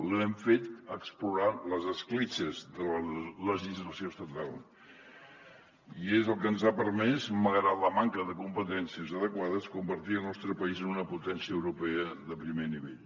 l’hem fet explorant les escletxes de la legislació estatal i és el que ens ha permès malgrat la manca de competències adequades convertir el nostre país en una potència europea de primer nivell